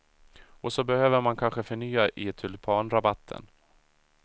Och så behöver man kanske förnya i tulpanrabatten.